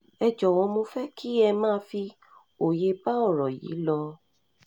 ẹ jọ̀wọ́ mo fẹ́ kí ẹ máa fi òye bá ọ̀rọ̀ yìí lò ó